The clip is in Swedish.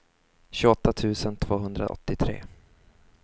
tjugoåtta tusen tvåhundraåttiotre